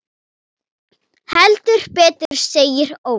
Heldur betur segir Óli.